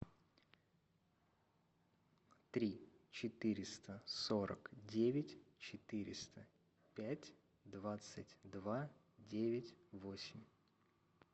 три четыреста сорок девять четыреста пять двадцать два девять восемь